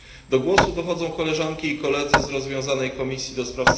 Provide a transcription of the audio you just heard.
Do głosu dochodzą koleżanki i koledzy z rozwiązanej Komisji ds.